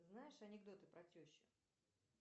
знаешь анекдоты про тещу